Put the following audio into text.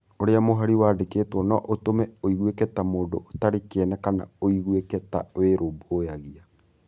Ũrĩa mũhari wandĩkĩtwo no ũtũme ũiguĩke ta mũndũ ũtarĩ kĩene kana ũiguĩke ta wĩrũmbũyagia.